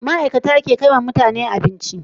Ma'ikata ke kaiwa mutane abinci